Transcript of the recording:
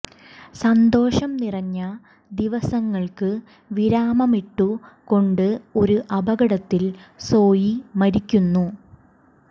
സന്തോഷം നിറഞ്ഞ ദിവസങ്ങൾക്ക് വിരാമമിട്ടു കൊണ്ട് ഒരു അപകടത്തിൽ സോയി മരിക്കുന്നു